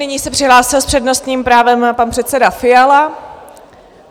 Nyní se přihlásil s přednostním právem pan předseda Fiala.